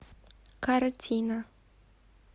картина